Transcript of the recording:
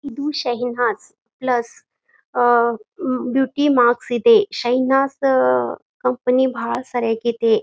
ಇದು Shahnaz plus um beauty marks ಇದೆ ಶೆಹನಾಜ್ ದ ಕಂಪನಿ ಭಾಳ ಸರಿಯಾಗಿದೆ .